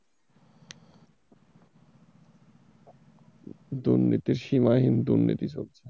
দুর্নীতির সীমাহীন দুর্নীতি চলছে।